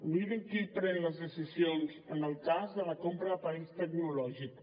mirin qui pren les decisions en el cas de la compra d’aparells tecnològics